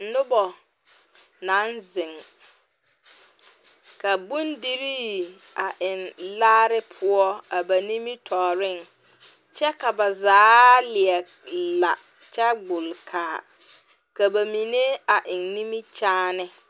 Noba naŋ zeŋ ka bondirii a eŋ laare poɔ a ba nimitɔɔreŋ kyɛ ka zaa leɛ la kyɛ gbolkaa ka mine a eŋ nimikyaane.